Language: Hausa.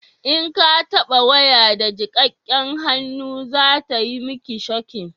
in ka taba waya da jikakken hannu za ta mi ki shoki